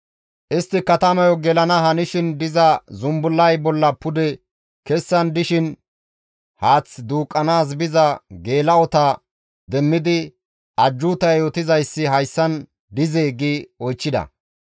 Istti katamayo gelana hanishin diza zumbullay bolla pude kessan dishin haath duuqqanaas biza geela7ota demmidi, «Ajjuuta yootizayssi hayssan dizee?» gi oychchida.